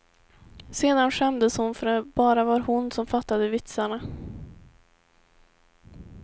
Sedan skämdes hon för att det bara var hon som fattade vitsarna.